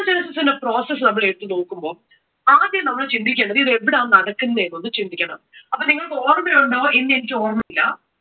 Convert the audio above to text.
Spermatogenesis process നമ്മൾ എടുത്തു നോക്കുമ്പോൾ, ആദ്യം നമ്മൾ ചിന്തിക്കേണ്ടത് ഇത് എവിടെയാ നടക്കുന്നെ എന്ന് ഒന്ന് ചിന്തിക്കണം. അപ്പോ നിങ്ങൾക്കു ഓർമ്മയുണ്ടോ എന്ന് എനിക്ക് ഓർമയില്ല